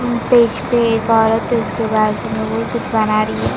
Page पे एक औरत है उसके बाजू में वो कुछ बना रही है ।